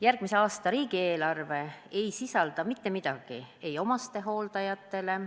Järgmise aasta riigieelarve ei sisalda mitte midagi omastehooldajatele.